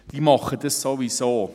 Die machen das sowieso.